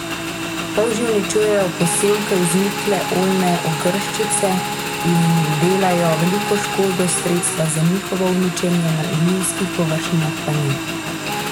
Polži uničujejo posevke vznikle oljne ogrščice in delajo veliko škodo, sredstva za njihovo uničenje na njivskih površinah pa ni.